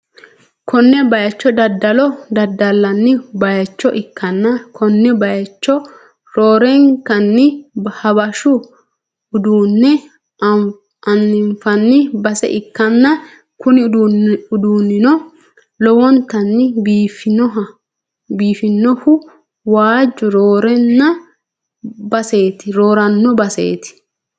konne bayicho daddalo daddallanni bayicho ikkanna, konne bayicho roorenkanni habashu uduunne anfanni base ikkanna, kuni uduunnino lowontanni biifannohu waajju rooranno baseeti.